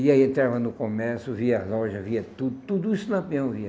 E aí entrava no comércio, via as lojas, via tudo, tudo isso lá mesmo via.